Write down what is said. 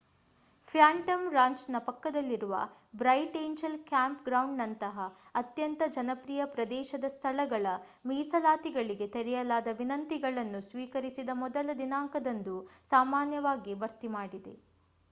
Phantom ರಾಂಚ್‌ನ ಪಕ್ಕದಲ್ಲಿರುವ Bright Angel ಕ್ಯಾಂಪ್‌ಗ್ರೌಂಡ್‌ನಂತಹ ಅತ್ಯಂತ ಜನಪ್ರಿಯ ಪ್ರದೇಶದ ಸ್ಥಳಗಳ, ಮೀಸಲಾತಿಗಳಿಗೆ ತೆರೆಯಲಾದ ವಿನಂತಿಗಳನ್ನು ಸ್ವೀಕರಿಸಿದ ಮೊದಲ ದಿನಾಂಕದಂದು ಸಾಮಾನ್ಯವಾಗಿ ಭರ್ತಿ ಮಾಡಿ